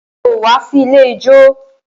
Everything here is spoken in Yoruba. Kò wá sí ilé ijó.